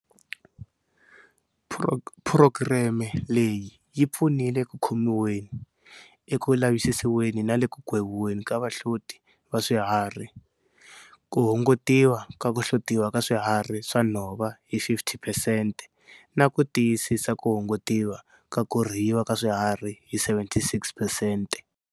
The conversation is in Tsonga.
Phurogireme leyi yi pfunile eku khomiweni, eku lavisisiweni na le ku gweviweni ka vahloti va swihari, ku hungutiwa ka ku hlotiwa ka swiharhi swa nhova hi 50 phesente, na ku tiyisisa ku hungutiwa ka ku rhiyiwa ka swiharhi hi 76 phesente.